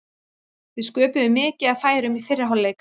Við sköpuðum mikið af færum í fyrri hálfleik.